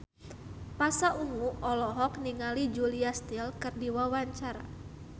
Pasha Ungu olohok ningali Julia Stiles keur diwawancara